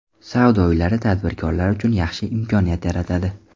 Savdo uylari tadbirkorlar uchun yaxshi imkoniyat yaratadi.